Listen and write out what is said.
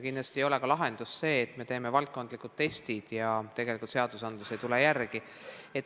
Kindlasti ei ole lahendus ka see, kui me teeme valdkondlikud testid, aga seadused ei tule järele.